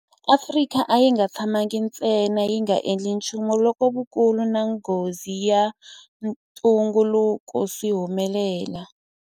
Afrika a yi nga tshamangi ntsena yi nga endli nchumu loko vukulu na nghozi ya ntungukulu swi humelela.